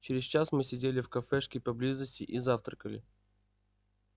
через час мы сидели в кафешке поблизости и завтракали